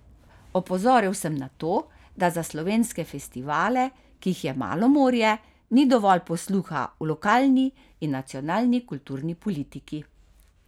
Opozoril sem na to, da za slovenske festivale, ki jih je malo morje, ni dovolj posluha v lokalni in nacionalni kulturni politiki.